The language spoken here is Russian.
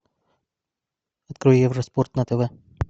открой евроспорт на тв